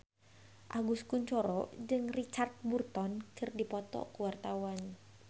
Agus Kuncoro jeung Richard Burton keur dipoto ku wartawan